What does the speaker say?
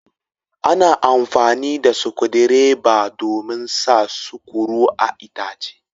Ana amfani da sukudireba domin sa sukuru a'itace.